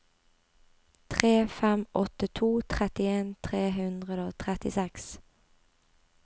tre fem åtte to trettien tre hundre og trettiseks